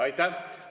Aitäh!